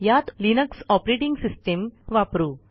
यात Linux operating system वापरू